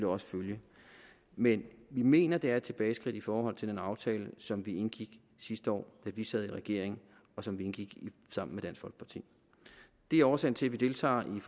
også følge men vi mener det er et tilbageskridt i forhold til den aftale som vi indgik sidste år da vi sad i regering og som vi indgik sammen med dansk folkeparti det er årsagen til at vi deltager i